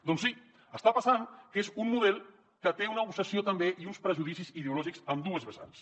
doncs sí està passant que és un model que té una obsessió també i uns prejudicis ideològics en dues vessants